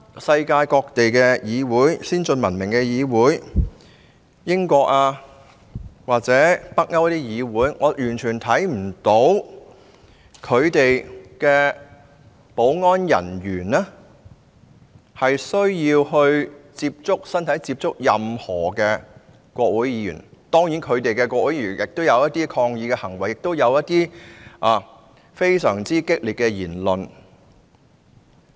世界各地先進文明國家如英國或北歐的議會，我完全看不到其保安人員跟任何國會議員有肢體接觸，當地的國會議員當然亦有抗議行為，亦有非常激烈的言論。